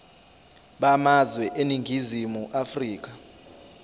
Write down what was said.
bamazwe eningizimu afrika